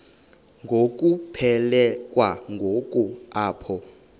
ngokuphelekwa ngu apho